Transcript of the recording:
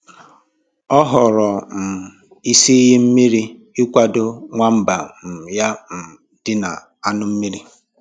Ọ họọrọ um isi iyi mmiri ịkwado nwamba um ya um ịdị na añụ mmírí